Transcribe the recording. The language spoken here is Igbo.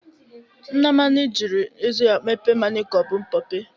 Nnamani jiri eze ya mepe mmanya ka ọ bụ mpọpe